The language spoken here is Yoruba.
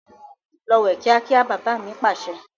Lọ wẹ̀ kíákíá! "bàbà mi Pàṣẹ".